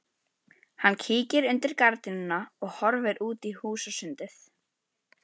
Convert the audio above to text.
Hann kíkir undir gardínuna og horfir út í húsasundið.